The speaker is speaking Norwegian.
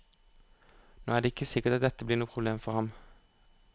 Nå er det ikke sikkert at dette blir noe problem for ham.